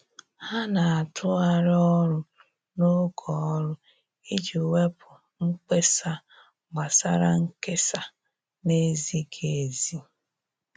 Ha na-atụgharị ọrụ n'oge ọrụ iji wepụ mkpesa gbasara nkesa na-ezighi ezi.